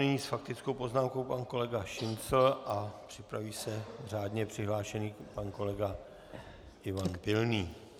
Nyní s faktickou poznámkou pan kolega Šincl a připraví se řádně přihlášený pan kolega Ivan Pilný.